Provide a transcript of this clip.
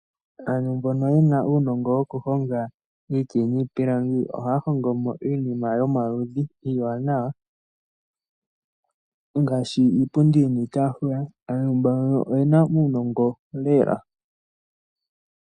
Aantu mbono yena uunongo wokuhonga iiti niipilangi ohaya hongo mo iinima yomaludhi iiwanawa ngaashi, iipundi niitaafula. Aantu mbono oyena uunongo lela.